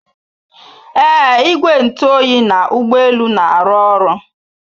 Ee igwe ntụ oyi na ụgbọ elu na-arụ ọrụ